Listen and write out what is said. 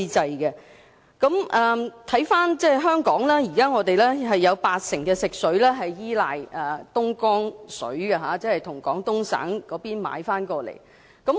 看回香港的情況，香港現時有八成的食水依賴東江水，即向廣東省購買東江水至港。